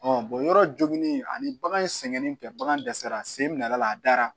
yɔrɔ joginen ani bagan in sɛgɛnnen tɛ bagan dɛsɛra sen bi nala la a da